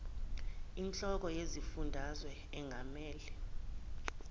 inhloko yesifundazwe engamele